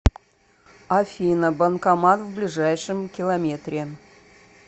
афина банкомат в ближайшем километре